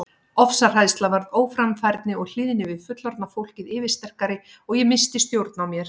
Ofsahræðsla varð óframfærni og hlýðni við fullorðna fólkið yfirsterkari og ég missti stjórn á mér.